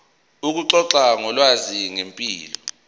ukuxoxa ngolwazi ngempilo